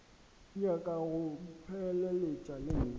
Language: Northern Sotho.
nyaka go mpheleletša le nna